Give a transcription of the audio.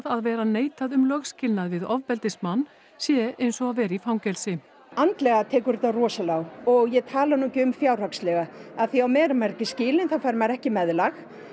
að vera neitað um lögskilnað við ofbeldismann sé eins og að vera í fangelsi andlega tekur þetta rosalega á og ég tala nú ekki um fjárhagslega af því að á meðan maður er ekki skilinn þá fær maður ekki meðlag